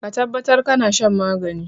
Ka tabbatar kana shan magani.